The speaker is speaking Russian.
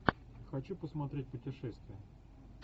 хочу посмотреть путешествие